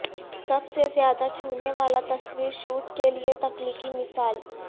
سب سے زیادہ چھونے والا تصویر شوٹ کے لئے تخلیقی مثال